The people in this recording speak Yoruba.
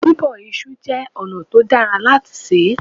Bíbọ iṣu jẹ́ ọ̀nà tó dára láti sè é.